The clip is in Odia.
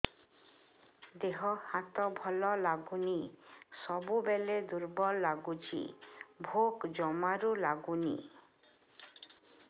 ଦେହ ହାତ ଭଲ ଲାଗୁନି ସବୁବେଳେ ଦୁର୍ବଳ ଲାଗୁଛି ଭୋକ ଜମାରୁ ଲାଗୁନି